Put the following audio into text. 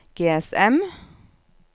GSM